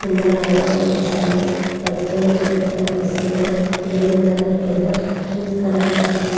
కింద రాళ్లు కనిపిస్తున్నాయి.పచ్చని చెట్లు కనిపిస్తున్నాయ్ .గ్రీన్ కలర్ పెద్ద ట్రీస్ కనిపిస్తున్నాయి.